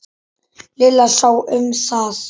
Lilla sá um það.